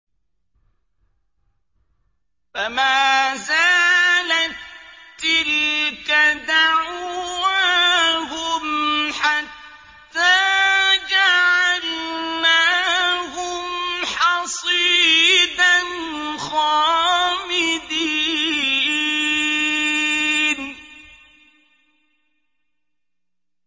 فَمَا زَالَت تِّلْكَ دَعْوَاهُمْ حَتَّىٰ جَعَلْنَاهُمْ حَصِيدًا خَامِدِينَ